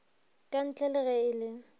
kantle le ge e le